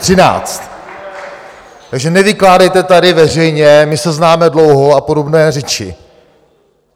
Takže nevykládejte tady veřejně, my se známe dlouho a podobné řeči.